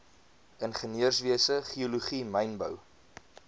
ingenieurswese geologie mynbou